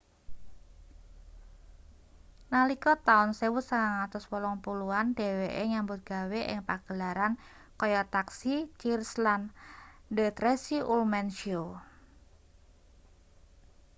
nalika taun 1980 an dheweke nyambut gawe ing pagelaran kaya taxi cheers lan the tracy ullman show